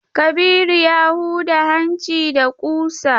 Kabiru ya huda hanci da kusa.